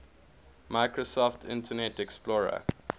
microsoft internet explorer